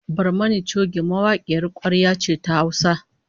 Barmani choge mawakiyar kwarya ce ta Hausa